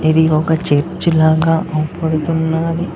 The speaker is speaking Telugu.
ఇది ఒక చర్చి లాగ కనపడుతున్నది.